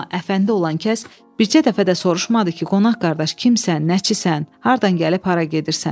Amma əfəndi olan kəs bircə dəfə də soruşmadı ki, qonaq qardaş kimsən, nəçisən, hardan gəlib hara gedirsən.